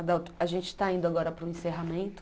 Adalto, a gente está indo agora para o encerramento.